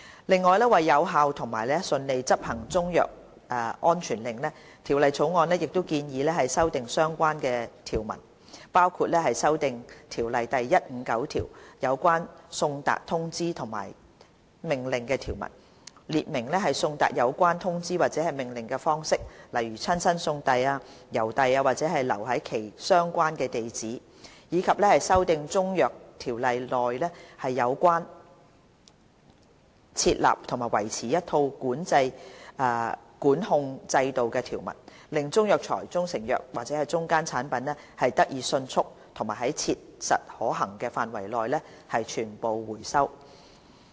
另外，為有效和順利執行中藥安全令，《條例草案》亦建議修訂相關條文，包括修訂《條例》第159條有關送達通知和命令的條文，列明送達有關通知或命令的方式，例如親身送遞、郵遞或留在其相關地址；以及修訂《中藥規例》內有關設立和維持一套管控制度的條文，令中藥材、中成藥及/或中間產品得以迅速及在切實可行範圍內得以全部收回。